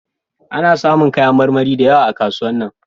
A na samu kayan marmari da yawa a kasuwan nan